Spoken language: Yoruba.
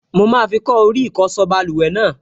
Mo máa fi kọ́ orí ìsokọ́ báluwẹ̀ náà